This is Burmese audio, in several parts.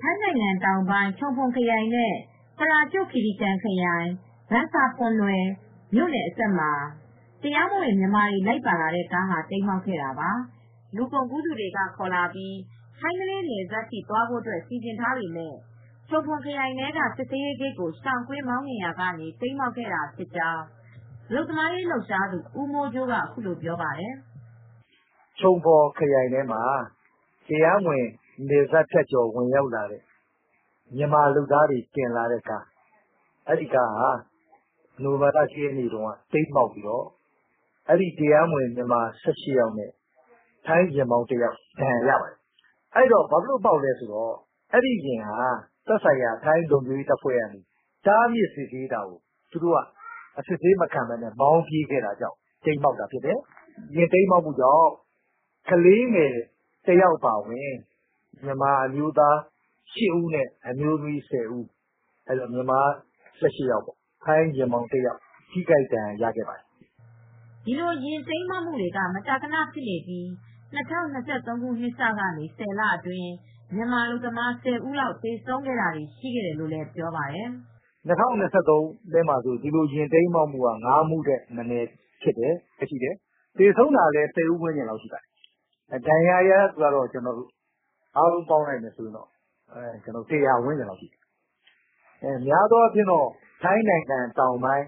ထိုင်းနိုင်ငံတောင်ပိုင်း ချုံဖွန်ခရိုင်နဲ့ ပရာကျွတ်ခီရီကန်ခရိုင် ဘန်ဆာဖန်နွယ်မြို့နယ်အစပ်မှာ တရားမဝင်မြန်မာတွေ လိုက်ပါလာတဲ့ကား တိမ်းမှောက်ခဲ့တာပါ။ လူကုန်ကူးသူတွေ ခေါ်လာပြီး ထိုင်းမလေးနယ်စပ်ထိသွားဖို့ စီစဉ်ထားပေမယ့် ချုံဖွန်ခရိုင်ထဲက စစ်ဆေးရေးဂိတ်ကို ရှောင်ကွင်းမောင်းနှင်ရာကနေ တိမ်းမှောက်ခဲ့တာဖြစ်ကြောင်းအလုပ်သမားရေး လှုပ်ရှားသူ ဦးမိုးကြိုးက ပြောပါတယ်။ " ထိုင်းနိုင်ငံ Chumphon ချုံဖွန်ခရိုင်ထဲမှာ တရားမဝင်နယ်စပ်ဖြတ်ကျော် ဝင်ရောက်လာပြီး မြန်မာအလုပ်သမားတွေတင်လာတဲ့ ကားဟာ နိုဝင်ဘာလ ၁ ရက်နေ့က တိမ်းမှောက်ပြီး တရားမဝင် မြန်မာ ၁၈ ယောက်နဲ့ ထိုင်းကားမောင်းသမားတဦး ဒဏ်ရာရပါတယ်။ အဲဒီကားက လုံခြုံရေးတပ်ဖဲွတွေရဲ့ စစ်ဆေးမှုကိုမခံပဲ မောင်းပြေးတာကြောင့် တိမ်းမှောက်တာဖြစ်တယ်။ ယာဉ်တိမ်းမှောက်မှုကြောင့် ကလေးတဦးအပါအဝင် မြန်မာအမျိုးသား ၈ ဦး နဲ့ အမျိုးသမီး ၁၀ ဦးပါတယ် အားလုံး ၁၈ ဦး ဒဏ်ရာရပါတယ်။ ထိုင်းယာဉ်မောင်းတဦး ဒဏ်ရာရပါတယ်။ " ဒီလိုယာဉ်တိမ်းမှောက်မှုတွေက မကြာခန ဖြစ်နေပြီး ၂၀၂၃ နှစ်စကနေ ၁၀ လအတွင်း မြန်မာအလုပ်သမား ၁၀ ဦးလောက် သေဆုံးခဲ့တာတွေလည်း ရှိခဲ့တယ်လို့ သူက ပြောပါတယ်။ " ၂၀၂၃ ထဲမှာ ဒီလိုယာဉ်တိမ်းမှောက်မူ့က ၅ မှုထက်မနည်းဖြစ်တယ် သေဆုံးသူက ၁၀ ဦးဝန်းကျင်ရှိတယ် ဒဏ်ရာရသူ အားလုံးပေါင်းရင် ၁၀၀ လောက်ရှိတယ်။ များသောအားဖြင့် ထိုင်းတောင်ပိုင်း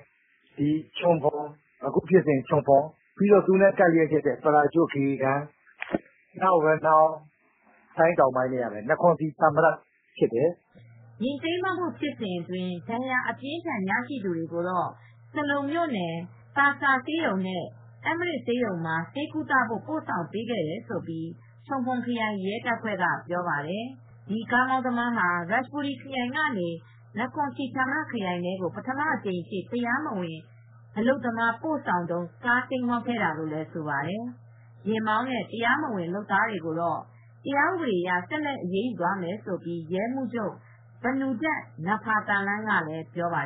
ချုံဖွန် အခုဖြစ်စဉ်လိုပေါ့ ကပ်ရက်က ပရာကျွတ်ခီရီကန် နကွန်စီဌာမရတ် အဲဒီနေရာတွေမှာ ဖြစ်တယ်။ " ယာဥ်တိမ်းမှောက်မှု ဖြစ်စဥ်အတွင်း ဒဏ်ရာအပြင်းအထန် ရရှိသူေတွကိုတော့ ဆလုံမြို့နယ်၊ သာဆာဆေးရုံနဲ့ အမ်မရစ်ဆေးရုံမှာ ဆေးကုသဖို့ ပို့ဆောင်ပေးခဲ့တယ်လို့ ချုံဖွန်ခရိုင် ရဲတပ်ဖဲွ့ပြောပါတယ်။ ဒီကားသမားဟာ ရာချန်ဘူရီခရိုင်ကနေ နခွန်စီဌာမရတ်ခရိုင် ထဲကို ပထမအကြိမ်အဖြစ် တရားမဝင် အလုပ်သမား ပို့ဆောင်တုန်း ကားတိမ်းမှောက်ခဲ့တာလို့လည်း ဆိုပါတယ်။ ယာဥ်မောင်းနဲ့ တရားမဝင် လုပ်သားတွေကို တရားဥပဒေအရ ဆက်လက်အရေးယူမယ်လို့ ထိုင်းရဲမှူးချုပ် ပနုဒက် နဖာသာလန်းက ပြောပါ